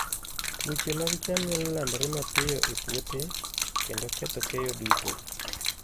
Tuoche mag cham nyalo landore mapiyo e puothe, kendo ketho keyo duto.